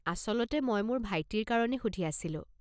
আচলতে মই মোৰ ভাইটিৰ কাৰণে সুধি আছিলো।